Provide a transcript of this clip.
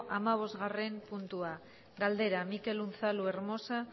hamabosgarren puntua galdera mikel unzalu hermosa